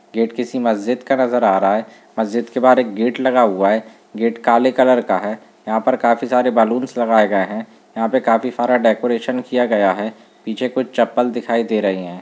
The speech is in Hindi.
गेट का किसी मस्जिद का नजर आ रहा है मस्जिद के बाहर एक गेट लगा हुआ है गेट काले कलर का है यहाँ पे काफी सारे बैलून्स लगाये गए हैं यहाँ पर काफी सारा डेकोरेसन किया गया है पीछे कुछ चप्पल दिखाई दे रहे हैं।